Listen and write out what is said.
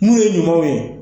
Mun ye ɲumanw ye